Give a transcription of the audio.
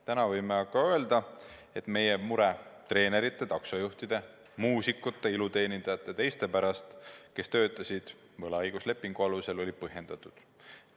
Nüüd võime öelda, et meie mure treenerite, taksojuhtide, muusikute, iluteenindajate ja teiste pärast, kes töötasid võlaõiguslepingu alusel, oli põhjendatud.